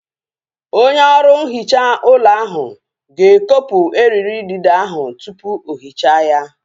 Onye ọrụ nhicha ụlọ ahu ga-ekopu eriri idide ahu tupu o hichaa ya